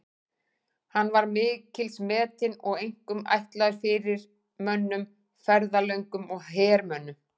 Hann var mikils metinn og einkum ætlaður fyrirmönnum, ferðalöngum og hermönnum.